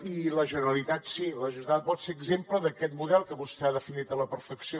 i la generalitat sí vol ser exemple d’aquest model que vostè ha definit a la perfecció